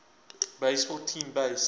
baseball team based